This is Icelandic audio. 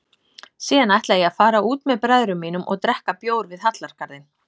Síðan ætla ég að fara út með bræðrum mínum og drekka bjór við Hallargarðinn.